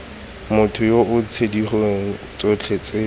mothong yoo ditshenyegelo tsotlhe tse